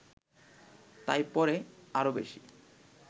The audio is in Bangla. তাই পরে আরও বেশি